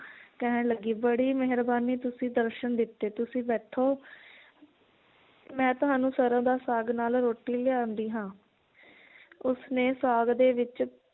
ਕਹਿਣ ਲੱਗੀ ਬੜੀ ਮੇਹਰਬਾਨੀ ਤੁਸੀਂ ਦਰਸ਼ਨ ਦਿੱਤੇ ਤੁਸੀਂ ਬੈਠੋ ਮੈ ਤੁਹਾਨੂੰ ਸਰੋਂ ਦਾ ਸਾਗ ਨਾਲ ਰੋਟੀ ਲਿਆਂਦੀ ਹਾਂ ਉਸਨੇ ਸਾਗ ਦੇ ਵਿਚ